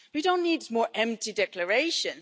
We don't need more empty declarations.